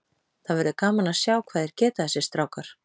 Það verður gaman að sjá hvað þeir geta þessir strákar.